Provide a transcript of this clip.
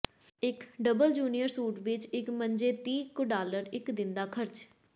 ਇੱਕ double junior suite ਵਿੱਚ ਇੱਕ ਮੰਜੇ ਤੀਹ ਕੁ ਡਾਲਰ ਇੱਕ ਦਿਨ ਦਾ ਖਰਚ